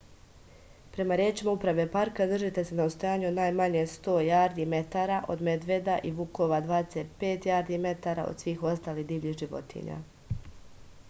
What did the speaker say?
према речима управе парка држите се на одстојању од најмање 100 јарди/метара од медведа и вукова и 25 јарди/метара од свих осталих дивљих животиња!